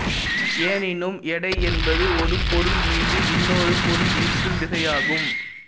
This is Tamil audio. எனினும் எடை என்பது ஒரு பொருள் மீது இன்னொரு பொருள் ஈர்க்கும் விசையாகும்